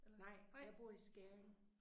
Nej jeg bor i Skæring